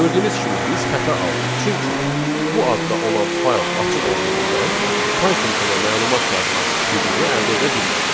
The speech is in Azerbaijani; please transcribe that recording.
Gördüyünüz kimi biz xəta aldıq, çünki bu adda olan fayl açıq olduğundan Python ona məlumat yazmaq hüququ əldə edə bilmədi.